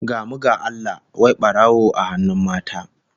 Gamu ga Allah, wai barawo a hannun mata!